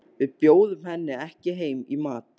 Við bjóðum henni ekki heim í mat.